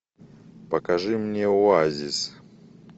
покажи мне оазис